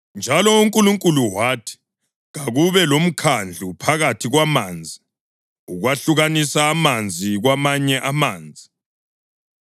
Njalo uNkulunkulu wathi, “Kakube lomkhandlu phakathi kwamanzi ukwehlukanisa amanzi kwamanye amanzi.”